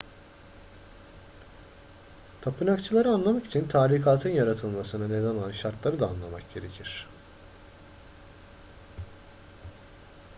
tapınakçıları anlamak için tarikatın yaratılmasına neden olan şartları da anlamak gerekir